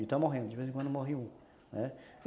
E está morrendo, de vez em quando morre um, né.